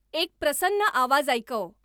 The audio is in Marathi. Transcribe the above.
एक प्रसन्न आवाज ऐकव